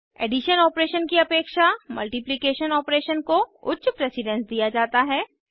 addition operation की अपेक्षा multiplication operation को उच्च प्रेसिडेन्स दिया जाता है